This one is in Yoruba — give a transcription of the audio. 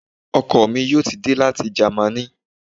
Ọkọ mi yóò ti dé láti ìlú Jamaní